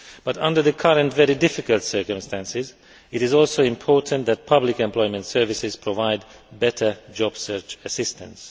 But under the current very difficult circumstances, it is also important that public employment services provide better job search assistance.